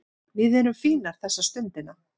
Við erum fínir þessa stundina